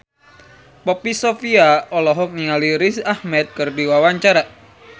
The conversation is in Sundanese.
Poppy Sovia olohok ningali Riz Ahmed keur diwawancara